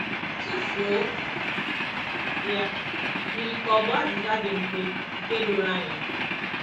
Tụfuo ya” yiri ka ọ bụ azịza dị mfe, nke doro anya.